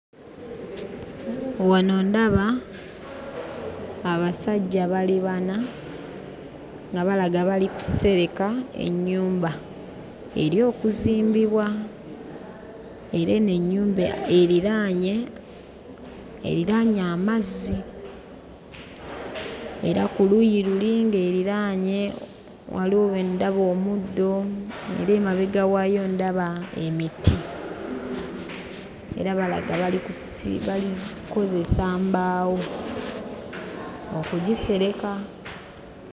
Wano ndaba abasajja bali bana nga balaga bali kusereka ennyumba eri okuzimbibwa, era eno ennyumba eriraanye eriraanye amazzi. Era ku luuyi luli ng'eriraanye, waliwo we ndaba omuddo eri emabega waayo ndaba emiti era balaga bali kusi bali kkozesa mbaawo okugisereka.